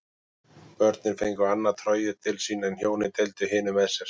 Börnin fengu annað trogið til sín en hjónin deildu hinu með sér.